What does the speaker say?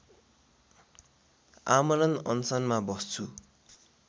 आमरण अनसनमा बस्छु